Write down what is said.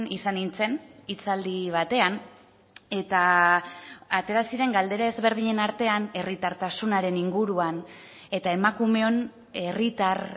izan nintzen hitzaldi batean eta atera ziren galdera ezberdinen artean herritartasunaren inguruan eta emakumeon herritar